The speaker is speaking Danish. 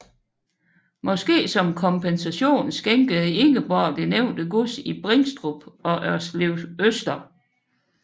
Måske som kompensation skænkede Ingeborg det nævnte gods i Bringstrup og Ørslevøster